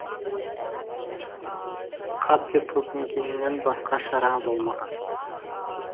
қап деп өкінгеннен басқа шара болмаған